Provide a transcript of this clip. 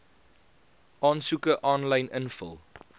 aansoeke aanlyn invul